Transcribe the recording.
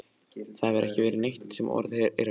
Það hefur ekki verið neitt sem orð er á gerandi.